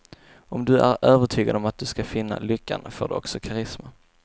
Om du är övertygad om att du skall finna lyckan får du också karisma.